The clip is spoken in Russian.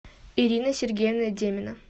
ирина сергеевна демина